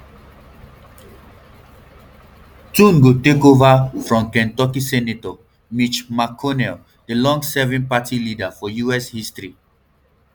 thune go take ova from kentucky senator mitch mcconnell di longestserving party leader for us history